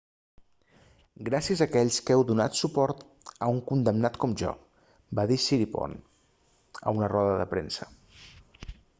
gràcies a aquells que heu donat suport a un condemnat com jo va dir siriporn a una roda de premsa